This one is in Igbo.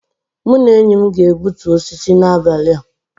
Mụ na enyi m ga-egbutu osisi a n'abalị a